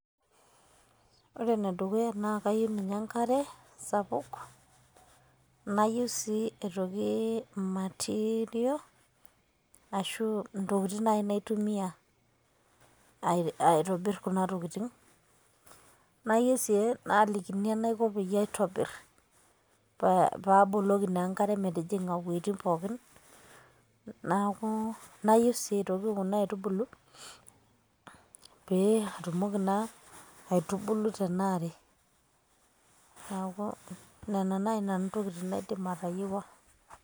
ore ene dukuya naa kayieu ninye enkare, nayieu sii aitoki material ashu intokitin naaji naitumia, aitobir kuna tokitin. nayieu sii naalikini enaiko peyie aitobir, pee aboloki si enkare iwuejitin pookin. naaku nayieu sii aitoki kuna aitubulu. pee atumoki naa aitubulu tena are, neeku nena naji ntokitin naidim atayiewua.